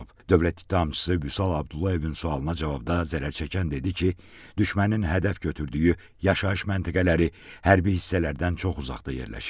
Dövlət ittihamçısı Vüsal Abdullayevin sualına cavabda zərərçəkən dedi ki, düşmənin hədəf götürdüyü yaşayış məntəqələri hərbi hissələrdən çox uzaqda yerləşib.